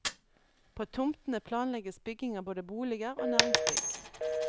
På tomtene planlegges bygging av både boliger og næringsbygg.